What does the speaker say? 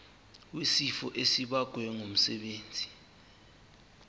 wesifo esibagwe ngumsebenzi